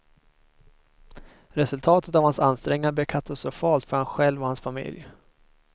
Resultatet av hans ansträngningar blev katastrofalt för han själv och hans familj.